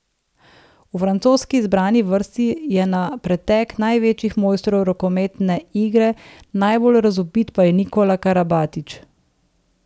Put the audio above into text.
V francoski izbrani vrsti je na pretek največjih mojstrov rokometne igre, najbolj razvpit pa je Nikola Karabatić.